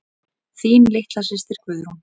Þín litla systir Guðrún.